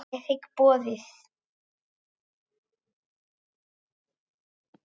Ég þigg boðið.